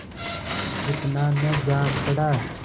उतना न जान पड़ा